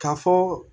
Ka fɔ